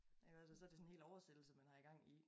Jamen altså så det sådan en hel oversættelse man har i gang i